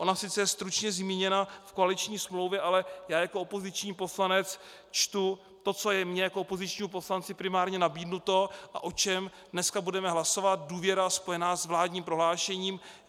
Ona sice je stručně zmíněna v koaliční smlouvě, ale já jako opoziční poslanec čtu to, co je mně jako opozičnímu poslanci primárně nabídnuto a o čem dneska budeme hlasovat - důvěra spojená s vládním prohlášením.